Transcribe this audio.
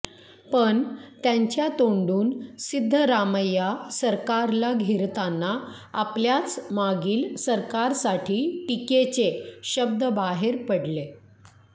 पण त्यांच्या तोंडून सिद्धरामय्या सरकारला घेरताना आपल्याच मागील सरकारसाठी टीकेचे शब्द बाहेर पडले